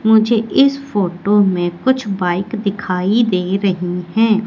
मुझे इस फोटो में कुछ बाइक दिखाई दे रही हैं।